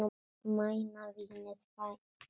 Mæna vínið færir þér.